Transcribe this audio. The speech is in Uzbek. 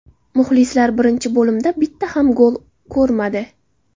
Muxlislar birinchi bo‘limda bitta ham gol ko‘rmadi.